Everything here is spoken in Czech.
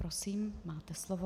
Prosím, máte slovo.